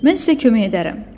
Mən sizə kömək edərəm.